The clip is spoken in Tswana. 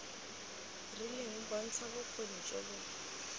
rileng bontsha bokgoni jo bo